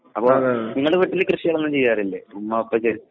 അപ്പോൾ നിങ്ങളുടെ വീട്ടില് കൃഷികൾ ഒന്നും ചെയ്യാറില്ലേ ഉമ്മ ഉപ്പയ്ക്ക്